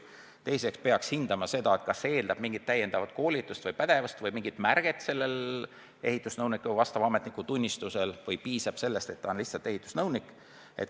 Teiseks peaks hindama seda, kas see eeldab mingit täiendavat koolitust või pädevust või mingit märget ehitusnõuniku ametnikutunnistusel või piisab sellest, et ta on lihtsalt ehitusnõunik.